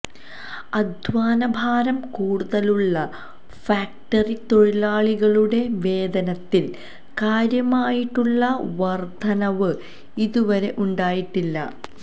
അധ്വാനഭാരം കൂടുതലുളള ഫാക്ടറി തൊഴിലാളികളുടെ വേതനത്തില് കാര്യമായിട്ടുളള വര്ദ്ധനവ് ഇതുവരെ ഉണ്ടായിട്ടില്ല